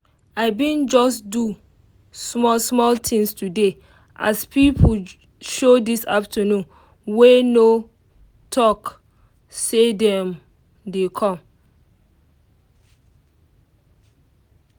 i bin just do small small thing today as pipo show this afternoon wey no talk say dem dey com.